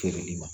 Feereli ma